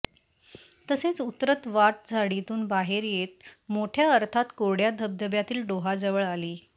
तसेच उतरत वाट झाडीतून बाहेर येत मोठ्या अर्थात कोरड्या धबधब्यातील डोहाजवळ आली